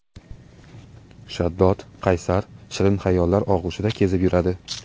Shaddod, qaysar, shirin hayollar og‘ushida kezib yuradi.